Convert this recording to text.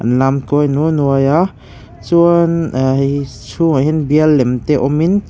an lam kawi naw nuai a chuan a chhungah hian bial lem te awmin.